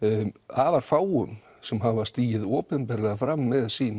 afar fáum sem hafa stigið opinberlega fram með sín